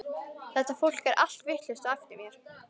Þetta fólk er allt vitlaust á eftir mér.